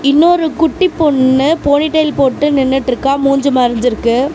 இன்னொரு குட்டி பொண்ணு போனிடெயில் போட்டு நின்னுட்ருக்கா மூஞ்சு மறஞ்ருக்கு.